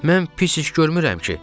Mən pis iş görmürəm ki?